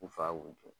U fa ko to